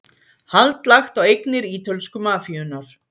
Hald lagt á eignir ítölsku mafíunnar